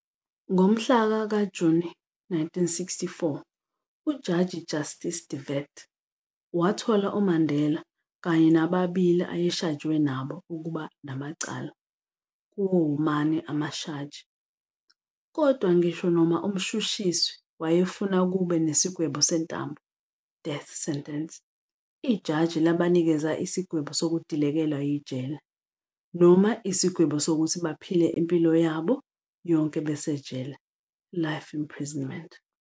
Ngomhla ka 12 Juni 1964, ujaji justice De Wet, wathola uMandela kanye nababili ayeshajwe nabo ukuba namacala kuwo womane amashaji, kodwa ngisho noma umshushiswi wayefuna kube nesigwebo sentambo, death sentence, ijaji labanikeza isigwebo sokudilikelwa yije noma isikwego sokuthi baphile impilo yabo yonke besejele, life imprisonment.